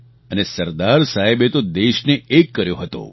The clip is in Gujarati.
અને સરદાર સાહેબે તો દેશને એક કર્યો હતો